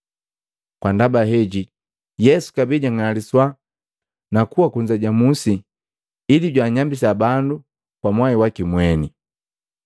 Kwa ndaba heji Yesu kabee jang'aliswa na kuwa kunza ja musi ili jwaanyambisa bandu kwa mwai waki mweni.